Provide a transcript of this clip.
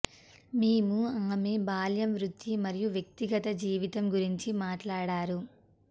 మేము ఆమె బాల్యం వృత్తి మరియు వ్యక్తిగత జీవితం గురించి మాట్లాడారు